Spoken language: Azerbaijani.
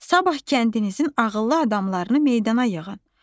Sabah kəndinizin ağıllı adamlarını meydana yığın.